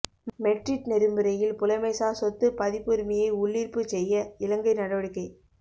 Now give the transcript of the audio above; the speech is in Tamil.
மெட்றிட் நெறிமுறையில் புலமைசார் சொத்துப் பதிப்புரிமையை உள்ளீர்ப்புச் செய்ய இலங்கை நடவடிக்கை